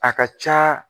A ka ca